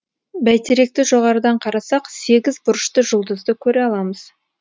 бәйтеректі жоғарыдан қарасақ сегіз бұрышты жұлдызды көре аламыз